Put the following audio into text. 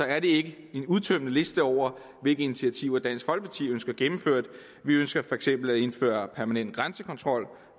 er det ikke en udtømmende liste over hvilke initiativer dansk folkeparti ønsker gennemført vi ønsker for eksempel at indføre permanent grænsekontrol